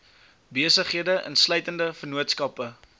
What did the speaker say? besighede insluitende vennootskappe